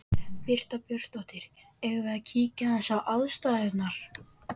Birta Björnsdóttir: Eigum við að kíkja aðeins á aðstæður?